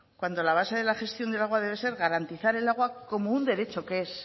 cuando la base de la gestión del agua debe ser garantizar el agua como un derecho que es